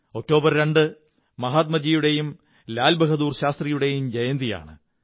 രണ്ട് ഒക്ടോബർ മഹാത്മാഗാന്ധിയുടെയും ലാല്ബ്ഹാദുർ ശാസ്ത്രിയുടെയും ജയന്തിയാണ്